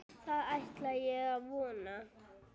Það ætla ég að vona.